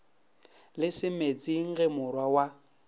le semetsing ge morwa wa